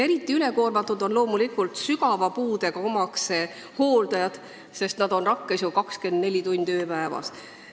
Eriti ülekoormatud on loomulikult sügava puudega omaste hooldajad, nad on ju rakkes 24 tundi ööpäevas.